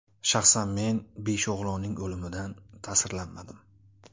Shaxsan men besh o‘g‘lonning o‘limidan ta’sirlanmadim.